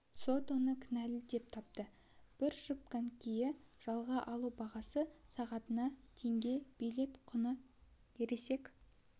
сот оны кінәлі деп тапты бір жұп конькиді жалға алу бағасы сағатына теңге билет құны ересек